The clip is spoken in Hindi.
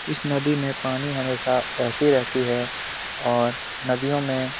इस नदी में पानी हमेशा बहती रहती है और नदियों में --